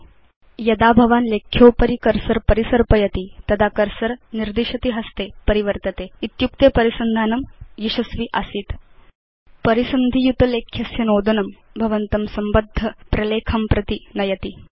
अधुना यदा भवान् लेख्योपरि कर्सर परिसर्पयति तदा कर्सर निर्दिशति हस्ते परिवर्तते इत्युक्ते परिसन्धानं यशस्वि आसीत्160 परिसन्धि युत लेख्यस्य नोदनं भवन्तं संबद्ध प्रलेखं प्रति नयति